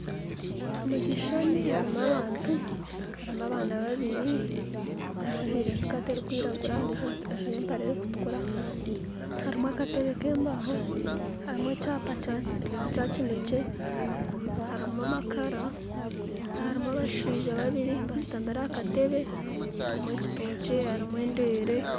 Omukyishani harimu abantu, harimu abaana babiri, omwe ajjwire sikati erikwiragura ondijjo ajjwire empare erikutukura, harimu akateebe kembaaho harimu ekyapa Kya Kya kyinekye, harimu amakara, harimu abashijja babiri basitamire aha kateebe, harimu ekyitokye harimu endeelee